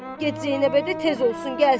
Get Zeynəbə de, tez olsun, gəlsin.